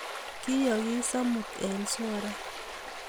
Kiyoogis amut eng sora